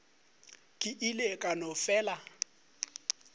ke ile ka no fela